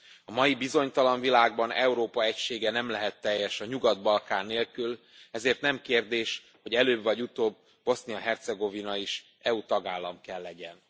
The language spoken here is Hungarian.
A mai bizonytalan világban Európa egysége nem lehet teljes a Nyugat Balkán nélkül, ezért nem kérdés, hogy előbb vagy utóbb Bosznia Hercegovina is EU tagállam kell legyen.